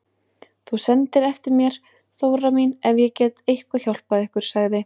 Þú sendir eftir mér Þóra mín ef ég get eitthvað hjálpað ykkur, sagði